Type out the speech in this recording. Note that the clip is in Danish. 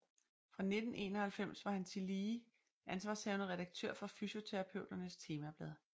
Fra 1991 var han tillige tillige ansvarshavende redaktør for Fysioterapeuternes Temablad